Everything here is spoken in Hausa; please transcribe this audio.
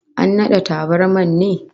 An nade tabarmar ne?